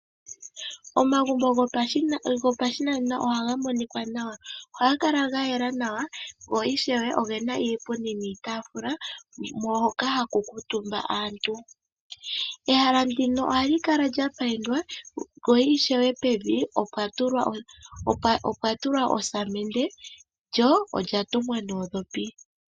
Omagumbo gopashinanena ohaga monika nawa. Ohaga kala ga yela nawa go ishewe ogena iipundi niitaafula hoka haku kuutumba aantu. Ehala ndino ohali kala lyapayindwa lyo ishewe pevi opwa tulwa osamende lyo olyatungwa nuudhopi.